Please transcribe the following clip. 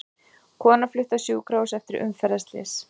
Kona flutt á sjúkrahús eftir umferðarslys